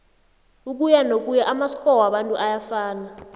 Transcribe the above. ukuyanokuya amasko wabantu ayafa